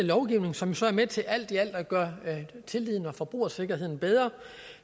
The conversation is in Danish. lovgivning som så er med til alt i alt at gøre tilliden og forbrugersikkerheden bedre